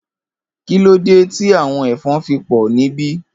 Kilódé ti áwòn èfòn fi pò nibi?